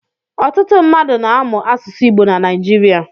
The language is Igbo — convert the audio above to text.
Ọtụtụ mmadụ na-amụ asụsụ Igbo na Naịjirịa.